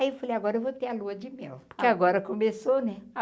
Aí eu falei, agora eu vou ter a lua de mel, porque agora começou, né?